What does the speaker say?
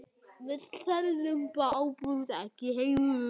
Við seljum áburð, ekki eitur.